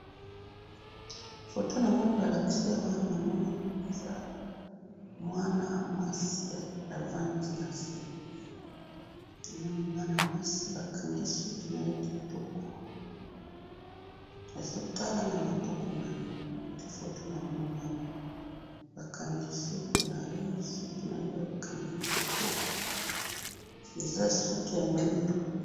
Foto namoni balakisi awa, namoni eza mwana mwasi avandi nase, namoni mwana mwasi bakangi suki naye kitoko, azotala namaboko naye, nde foto namoni awa, bakangi suki naye, suki naye bakangi kitoko, eza suki ya mwindu.